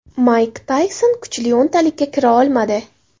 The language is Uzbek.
Mayk Tayson kuchli o‘ntalikka kira olmadi.